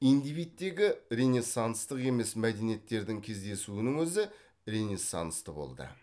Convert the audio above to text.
индивидтегі ренессанстық емес мәдениеттердің кездесуінің өзі ренессансты болды